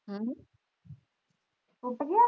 ਹਮ ਟੁੱਟ ਗਿਆ